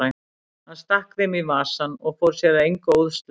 Hann stakk þeim í vasann og fór sér að engu óðslega.